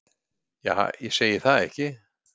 Ja ég segi það ekki.